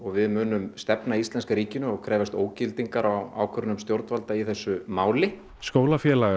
við munum stefna íslenska ríkinu og krefjast ógildingar á ákvörðunum stjórnvalda í þessu máli skólafélagar